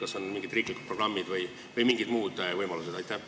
Kas on olemas mingid riiklikud programmid või mingid muud võimalused?